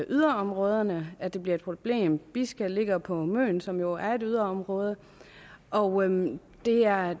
yderområderne at det bliver et problem bisca ligger på møn som jo er et yderområde og det er